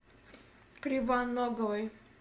кривоноговой